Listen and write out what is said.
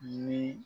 Ni